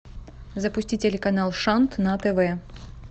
запусти телеканал шант на тв